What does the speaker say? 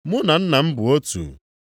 Mụ na nna m bụ otu.”